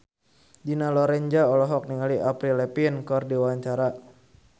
Dina Lorenza olohok ningali Avril Lavigne keur diwawancara